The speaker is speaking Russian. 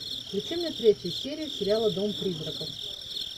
включи мне третью серию сериала дом призраков